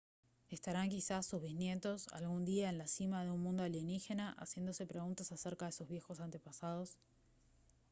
¿estarán quizás sus bisnietos algún día en la cima de un mundo alienígena haciéndose preguntas acerca de sus viejos antepasados?